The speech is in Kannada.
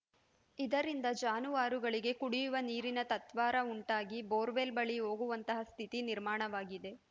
ಇದರಿಂದ ಜಾನುವಾರುಗಳಿಗೆ ಕುಡಿಯುವ ನೀರಿಗೂ ತತ್ವಾರ ಉಂಟಾಗಿ ಬೋರ್‌ವೆಲ್‌ ಬಳಿ ಹೋಗುವಂತಹ ಸ್ಥಿತಿ ನಿರ್ಮಾಣವಾಗಿದೆ